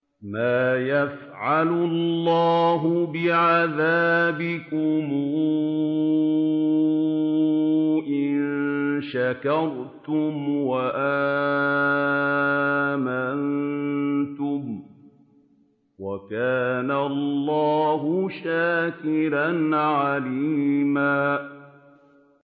مَّا يَفْعَلُ اللَّهُ بِعَذَابِكُمْ إِن شَكَرْتُمْ وَآمَنتُمْ ۚ وَكَانَ اللَّهُ شَاكِرًا عَلِيمًا